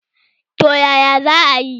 Toh yaya zaayi?